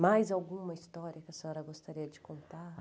Mais alguma história que a senhora gostaria de contar?